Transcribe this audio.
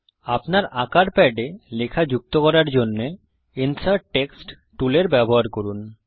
আপনার আঁকার প্যাডে লেখা যুক্ত করার জন্যে ইনসার্ট টেক্সট টুলের ব্যবহার করুন